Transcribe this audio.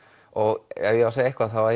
og ef ég á að segja eitthvað þá